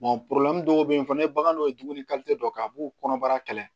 dɔw bɛ yen fana ni bagan dɔ ye dumuni dɔ kɛ a b'u kɔnɔbara kɛlɛ